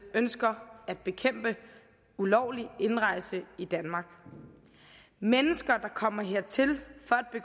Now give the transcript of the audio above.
ønsker at bekæmpe ulovlig indrejse i danmark mennesker der kommer hertil